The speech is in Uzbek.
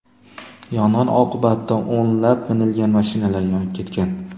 Yong‘in oqibatida o‘nlab minilgan mashinalar yonib ketgan.